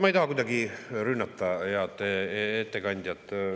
Ma ei taha kuidagi rünnata head ettekandjat.